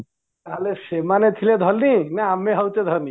ନା ସେମାନେ ଥିଲେ ଧନୀ ନା ଆମେ ହଉଚେ ଧନୀ